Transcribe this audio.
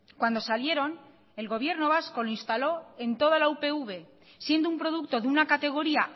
cuando salieron el gobierno vasco lo instaló en toda la upv siendo un producto de una categoría